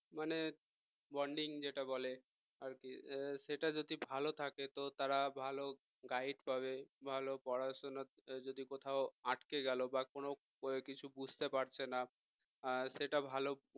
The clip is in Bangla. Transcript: মানে bonding যেটা বলে আর কি সেটা যদি ভালো থাকে তো তারা ভালো guide পাবে ভালো পড়াশোনা যদি কোথাও আটকে গেল বা কোন কিছু বুঝতে পারছে না সেটা ভালো